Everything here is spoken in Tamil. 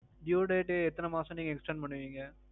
due தேதி எத்தனை மாசம் நீங்க extend பண்ணுவீங்க?